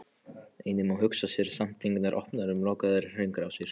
Einnig má hugsa sér samtengdar opnar og lokaðar hringrásir.